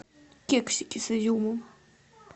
кексики с изюмом